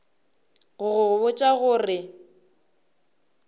go go botša go re